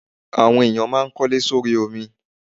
Àwọn ènìyàn máa kólé sórí omi.